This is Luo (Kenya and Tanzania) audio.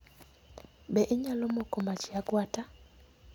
Be inyalo moko mach e agwata?